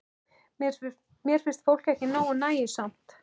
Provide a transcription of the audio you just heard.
Mér finnst fólk ekki nógu nægjusamt.